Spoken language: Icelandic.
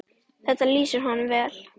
Þetta lýsir honum vel.